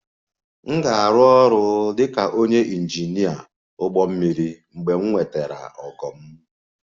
M ga-arụ ọrụ dị ka onye injinia ụgbọ mmiri mgbe m nwetara ogo m